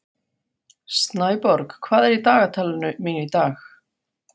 Snæborg, hvað er í dagatalinu mínu í dag?